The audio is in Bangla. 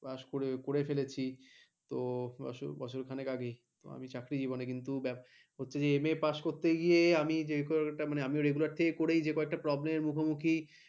pass করে করে ফেলেছি তো বছরখানেক আগে আমি চাকরি জীবনে কিন্তু হচ্ছে যে MA pass করতে গিয়ে যে কারণে একটা regular থেকে করে যে কয়েকটা problem এ মুখোমুখি